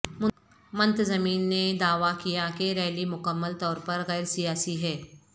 منتظمین نے دعوی کیا کہ ریلی مکمل طور پر غیر سیاسی ہے